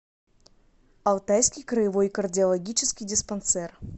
алтайский краевой кардиологический диспансер